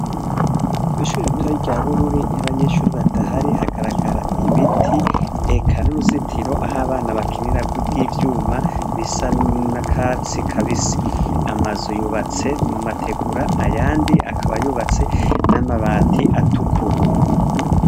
Kwishure ritoyi rya bururi iyo abanyeshure badahari rigaragara ibiti eka nuruzitiro aho abana bakinirako ivyuma bisa nakatsi kabisi amazu yubatse mu mategura ayandi yubatse namabati atukura